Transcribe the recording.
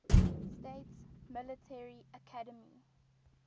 states military academy